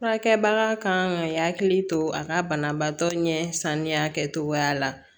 Furakɛbaga kan ka hakili to a ka banabaatɔ ɲɛ sanuya kɛcogoya la